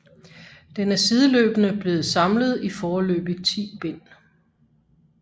Den er sideløbende blevet samlet i foreløbig 10 bind